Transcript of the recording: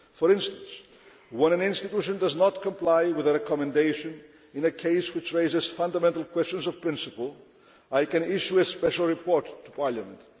For instance, when an institution does not comply with a recommendation in a case which raises fundamental questions of principle, I can issue a special report to Parliament.